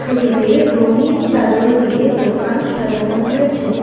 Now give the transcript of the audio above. ছবিতে রঙিন চাদর দিয়ে দোকান সাজানো হয়েছে।